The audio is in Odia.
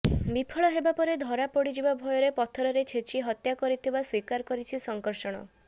ବିଫଳ ହେବାପରେ ଧରାପଡିଯିବା ଭୟରେ ପଥରରେ ଛେଚି ହତ୍ୟା କରିଥିବା ସ୍ବୀକାର କରିଛି ଶଙ୍କର୍ଷଣ